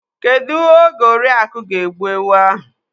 Kedụ oge Oriaku ga-egbu ewu ahụ?